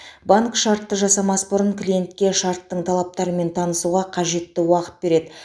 банк шартты жасамас бұрын клиентке шарттың талаптарымен танысуға қажетті уақыт береді